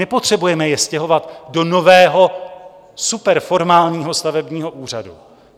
Nepotřebujeme je stěhovat do nového superformálního stavebního úřadu.